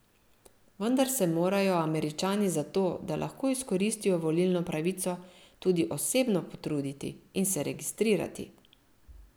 Vendar se morajo Američani za to, da lahko izkoristijo volilno pravico, tudi osebno potruditi in se registrirati.